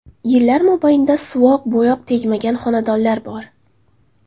Yillar mobaynida suvoq-bo‘yoq tegmagan xonadonlar bor.